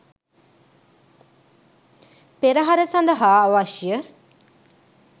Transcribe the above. පෙරහර සඳහා අවශ්‍යය